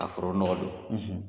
A foro nɔgɔ don